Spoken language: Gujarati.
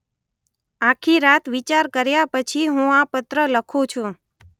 આખી રાત વિચાર કર્યા પછી હું આ પત્ર લખું છું.